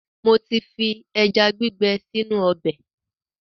Mo ti fi ẹja gbígbẹ sínú ọbẹ̀.